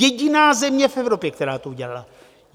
Jediná země v Evropě, která to udělala.